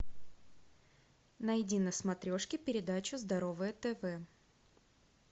найди на смотрешке передачу здоровое тв